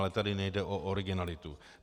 Ale tady nejde o originalitu.